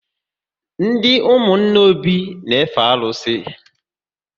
Ndị ụmụnna Obi n efe arụsị